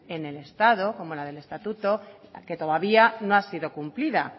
en el estado como la del estatuto que todavía no ha sido cumplida